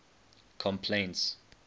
complaints